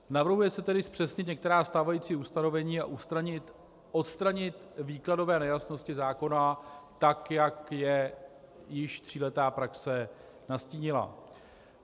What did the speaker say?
Navrhuje se tedy zpřesnit některá stávající ustanovení a odstranit výkladové nejasnosti zákona tak, jak je již tříletá praxe nastínila.